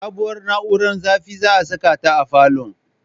Sabuwar na'ura zafin za'a saka ta a falon